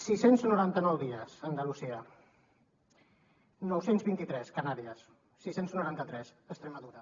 sis cents noranta nou dies andalusia nou cents i vint tres canàries sis cents i noranta tres extremadura